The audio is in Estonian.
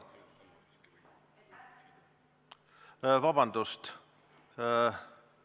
Vabandust!